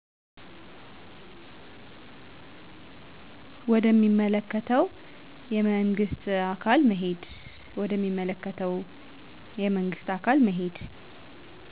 ወደ ሚመለከተ የመንግስት አካል መሄድ